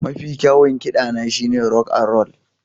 Mafi kyawun kiɗana shine rock and roll